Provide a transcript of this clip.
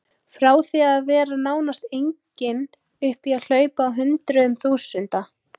Frá því að vera nánast engin upp í að hlaupa á hundruðum þúsunda.